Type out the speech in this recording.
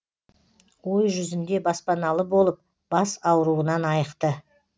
ой жүзінде баспаналы болып бас ауруынан айықты